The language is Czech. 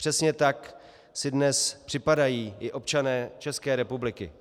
Přesně tak si dnes připadají i občané České republiky.